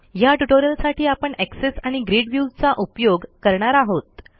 ह्या ट्युटोरियलसाठी आपण एक्सेस आणि ग्रिड viewचा उपयोग करणार आहोत